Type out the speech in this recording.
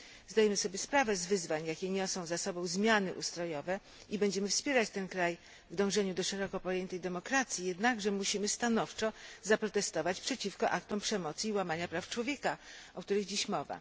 Zdajemy sobie sprawę z wyzwań, jakie niosą ze sobą zmiany ustrojowe, i będziemy wspierać ten kraj w dążeniu do szeroko pojętej demokracji, jednakże musimy stanowczo zaprotestować przeciwko aktom przemocy i łamania praw człowieka, o których dziś mowa.